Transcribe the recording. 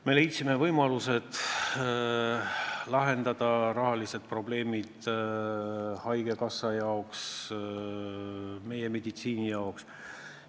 Me leidsime võimalused lahendada haigekassa, meie meditsiini rahalised probleemid.